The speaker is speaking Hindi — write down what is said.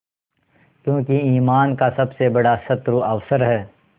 क्योंकि ईमान का सबसे बड़ा शत्रु अवसर है